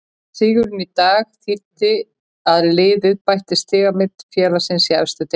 Sigurinn í dag þýddi að liðið bætti stigamet félagsins í efstu deild.